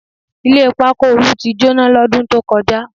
Ilé pákó Olú ti jóná lọ́dún tó kọjá